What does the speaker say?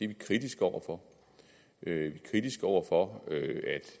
vi kritiske over for vi er kritiske over for at